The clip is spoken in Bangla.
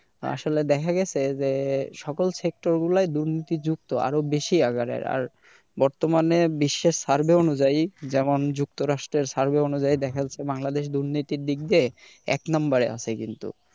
আসলে দেখা গেছে যে সকল sector গুলাই দুর্নীতিযুক্ত আরো বেশি আকারের আর বর্তমানে বিশ্বের survey অনুযায়ী যেমন যুক্তরাষ্ট্রের survey অনুযায়ী দেখা যাচ্ছে বাংলাদেশে দুর্নীতির দিক দিয়ে এক number এ আছি কিন্তু।